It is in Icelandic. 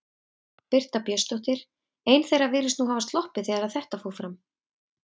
Birta Björnsdóttir: Ein þeirra virðist nú hafa sloppið þegar að þetta fór fram?